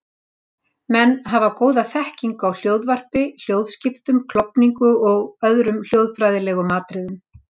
Menn hafa góða þekkingu á hljóðvarpi, hljóðskiptum, klofningu og öðrum hljóðfræðilegum atriðum.